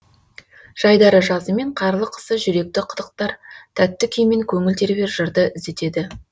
жайдары жазы мен қарлы қысы жүректі қытықтар тәтті күй мен көңіл тербер жырды іздетеді